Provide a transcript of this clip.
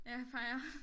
Ja peger